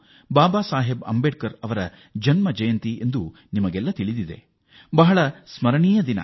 ಬಾಬಾ ಸಾಹೇಬ್ ಅಂಬೇಡ್ಕರ್ ಅವರ ಜಯಂತಿ ಅದು ಅವಿಸ್ಮರಣೀಯ ದಿನ